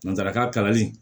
Nansarakan kalanli